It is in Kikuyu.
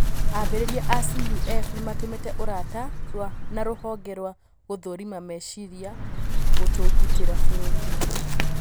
ambarĩria a Cuf nĩmatumĩte ũrata na rũhonge rwa gũthũrima meciria gũtũũgĩtria bũrũri